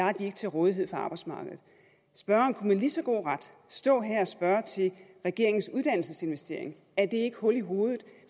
er de ikke til rådighed for arbejdsmarkedet spørgeren kunne med lige så god ret stå her og spørge til regeringens uddannelsesinvestering er det ikke hul i hovedet